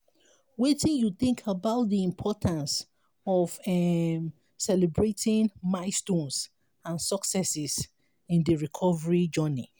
wetin you think about di importance of um celebrating milestones and successes in di recovery journey?